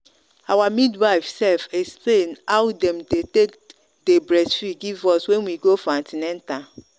our midwife sef explain how them dey take breastfeed give us when we go for an ten atal.